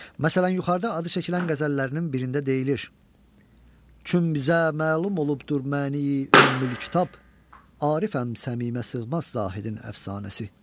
Məsələn, yuxarıda adı çəkilən qəzəllərinin birində deyilir: Küm bizə məlum olubdur məni ümmül kitab, Arifəm sənə sığmaz zahidin əfsanəsi.